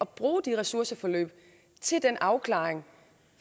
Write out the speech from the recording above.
bruge de ressourceforløb til den afklaring